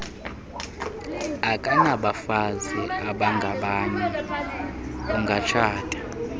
akanabafazi abangabanye ungatshata